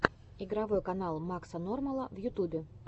игровой канал макса нормала в ютубе